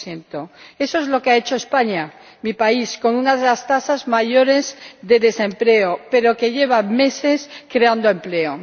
2 Eso es lo que ha hecho España, mi país, con una de las tasas mayores de desempleo, pero que lleva meses creando empleo.